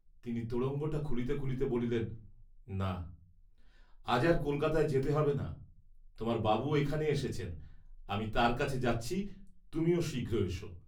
তিনি তোড়ঙ্গটা খুলিতে খুলিতে বলিলেন না, আজ আর কলকাতায় যেতে হবে না, তোমার বাবু এখানে এসেছেন, আমি তাঁর কাছে যাচ্ছি, তুমিও শীঘ্র এস।